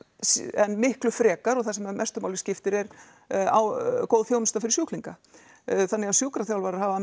en miklu frekar og það sem mestu máli skiptir er góð þjónusta fyrir skjúklinga þannig að sjúkraþjálfarar hafa að